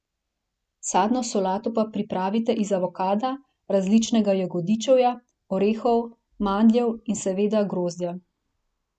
Sadno solato pa pripravite iz avokada, različnega jagodičevja, orehov, mandljev in seveda grozdja.